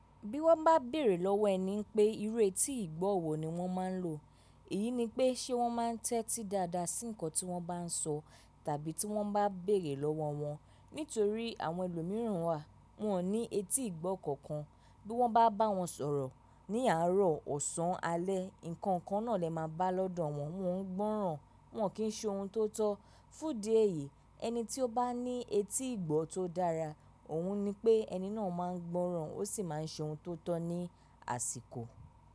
Bí wọ́n bá béèrè lọ́wọ́ ẹni pé ìru étí ìgbọ́ wọ̀ ni wọ́n máa ń lò, èyí ni pé ṣe wọ́n máa ń tẹ́tí dáadáa sí nǹkan tí wọ́n bá sọ tàbí tí wọ́n bá béèrè lọ́wọ́ wọn. Nítorí àwọn ẹlòmíràn wà, wọn ò ní etí ìgbọ́ kankan. Bí wọ́n bá bá wọn sọ̀rọ̀ ní àárọ̀, ọ̀sán, alẹ́, nǹkan kan náà lẹ máa bá lọ́dọ̀ wọn, wọ́n ń gbọ́ràn, wọ́n ò kí ń ṣe ohun tó tọ́. Fún di èyí, ẹni tí ó bá ní etí ìgbọ́ tó dára, òun ni pé ẹni náà máa ń gbọ́ràn ó sì máa ń ṣe ohun tó tọ́ ní àsìkò.